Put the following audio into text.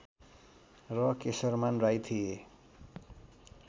र केशरमान राई थिए